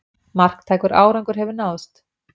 Marktækur árangur hefur náðst